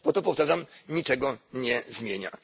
Bo to, powtarzam, niczego nie zmienia.